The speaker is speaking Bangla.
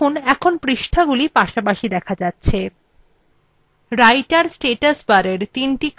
দেখুন এখন পৃষ্ঠাগুলি পাশাপাশি দেখা যাচ্ছে